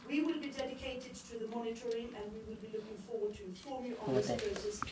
We will be dedicated to the monitoring and we will be looking forward to informing you on this process.